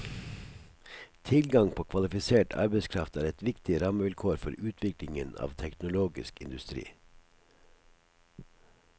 Tilgang på kvalifisert arbeidskraft er et viktig rammevilkår for utviklingen av teknologisk industri.